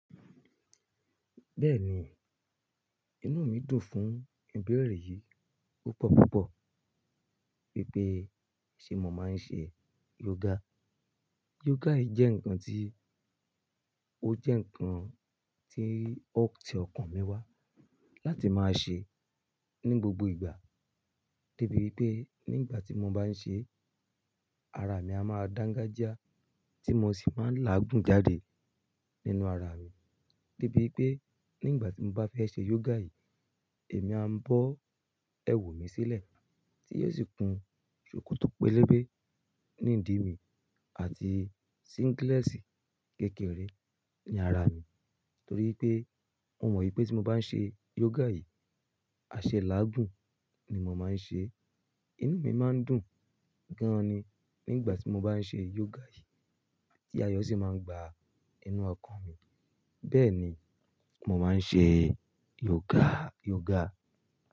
Bẹ́ẹ̀ni, inú mi dùn fún ìbéèrè yìí púpọ̀púpọ̀ wípé ṣé mo máa ń ṣe yoga. Yoga yìí jẹ́ ǹkan tí ó jẹ́ ǹkan tí ó ti ọkàn mi wá láti máa ṣe ní gbogbo ìgbà de bi wípé nígbà tí mo bá ń ṣe é, ara mi a máa dán gaja tí mo sì máa ń láàgùn jáde nínú ara mi. De bí pé nígbà tí mo bá fẹ́ ṣe yoga yìí, èmi a ń bọ́ ẹwù mi sílẹ̀ tí yóò sì kun ṣòkòtò pélébé ní ìdí mi àti síngílẹ́sì kékeré ní ara mi torí pé mo mọ̀ wípé tí mo bá ń ṣe yoga yìí, àṣẹ láàgùn ni mo máa ń ṣe. Inú mi máa ń dùn gan ni nígbà tí mo bá ń ṣe yoga yìí ti ayọ̀ sì máa ń gba inú ọkàn mi. Bẹ́ẹ̀ni, mo máa ń ṣe yoga, yoga.